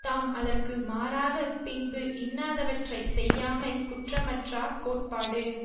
தாம் அதற்கு மாறாகப் பின்பு இன்னாதவற்றை செய்யாமை குற்றமற்றார் கோட்பாடு